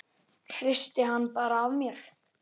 Hristi hann bara af mér.